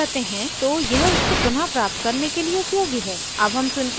अगर आप password भूल जाते हैं तो यह उसको पुनः प्राप्त करने के लिए उपयोगी है